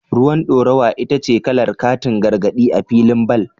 Ruwan dorawa ita ce kalar katin gargadi a filin bal.